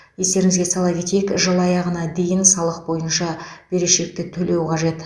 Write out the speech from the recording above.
естеріңізге сала кетейік жыл аяғына дейін салық бойынша берешекті төлеу қажет